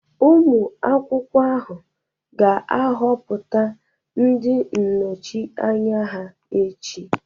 Ụmụ akwụkwọ ahụ ga-ahọpụta ndị nnọchi anya ha echi.